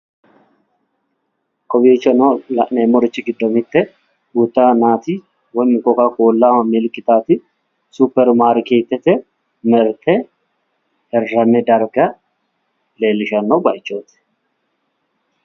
Kowiichono la'neemmonte gede duucha yannaati koka koolla milikitaati super maarkeetete marte hirranni darga leellishshanno baaychooti.